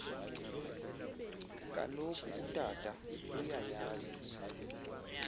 kaloku utata uyayazi